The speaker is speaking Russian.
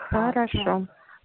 хорошо